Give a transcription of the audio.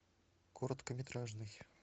короткометражный